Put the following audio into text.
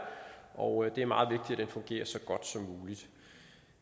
og det er meget vigtigt at den fungerer så godt som muligt